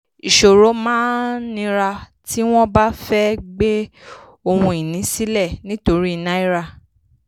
ìṣòro máa nira tí wọ́n bá fẹ́ gbé ohun-ìní sílẹ̀ nítorí náírà.